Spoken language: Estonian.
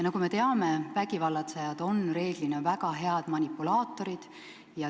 Nagu me teame, vägivallatsejad on reeglina väga head manipulaatorid.